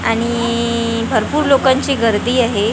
आणि इइ भरपूर लोकांची गर्दी आहे .